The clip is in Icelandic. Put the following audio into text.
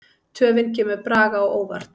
Töfin kemur Braga á óvart.